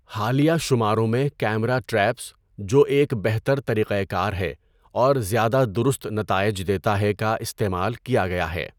حالیہ شماروں میں کیمرہ ٹریپس، جو ایک بہتر طریقہ کار ہے اور زیادہ درست نتائج دیتا ہے، کا استعمال کیا گیا ہے۔